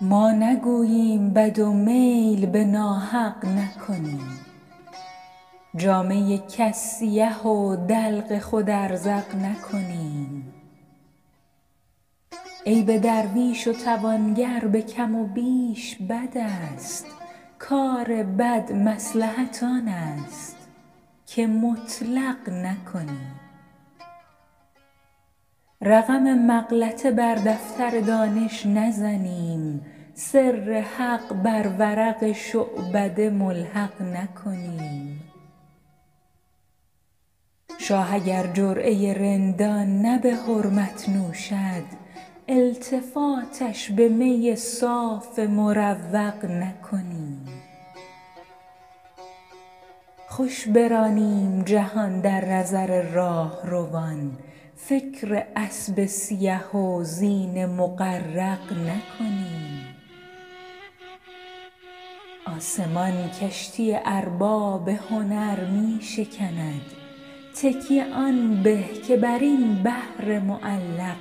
ما نگوییم بد و میل به ناحق نکنیم جامه کس سیه و دلق خود ازرق نکنیم عیب درویش و توانگر به کم و بیش بد است کار بد مصلحت آن است که مطلق نکنیم رقم مغلطه بر دفتر دانش نزنیم سر حق بر ورق شعبده ملحق نکنیم شاه اگر جرعه رندان نه به حرمت نوشد التفاتش به می صاف مروق نکنیم خوش برانیم جهان در نظر راهروان فکر اسب سیه و زین مغرق نکنیم آسمان کشتی ارباب هنر می شکند تکیه آن به که بر این بحر معلق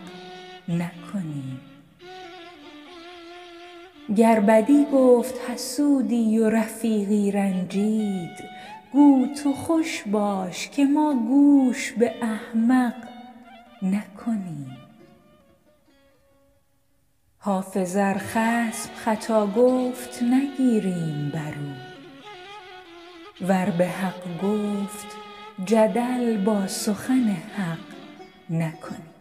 نکنیم گر بدی گفت حسودی و رفیقی رنجید گو تو خوش باش که ما گوش به احمق نکنیم حافظ ار خصم خطا گفت نگیریم بر او ور به حق گفت جدل با سخن حق نکنیم